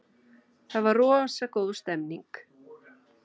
Það var rosa góð stemning.